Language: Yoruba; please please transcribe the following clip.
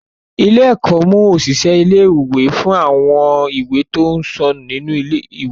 Ilé-ẹ̀kọ́ mú òṣìṣẹ́ ilé-ìwé fún àwọn ìwé tí ó ń sọnù nínú ilé-ìwé.